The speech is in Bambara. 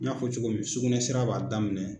N y'a fɔ cogo min sugunɛ sira b'a daminɛ.